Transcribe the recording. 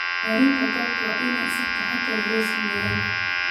Diyaarinta goobta waa in si taxadar leh loo sameeyaa.